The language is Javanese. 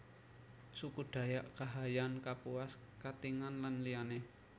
Suku Dayak Kahayan Kapuas Katingan lan liyané